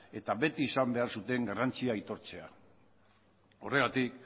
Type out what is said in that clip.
eta beti izan behar zuten garrantzia aitortzea horregatik